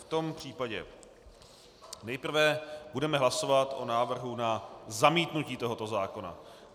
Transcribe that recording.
V tom případě nejprve budeme hlasovat o návrhu na zamítnutí tohoto zákona.